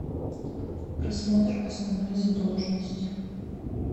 просмотр основной задолженности